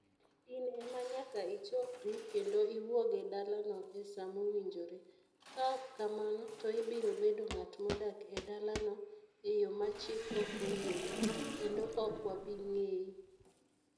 In ema nyaka ichokri kendo iwuog e dalano e sa mowinjore. Ka ok kamano, to ibiro bedo ng'at modak e dalano e yo ma chik ok oyiego, kendo ok wabi ng'eyi".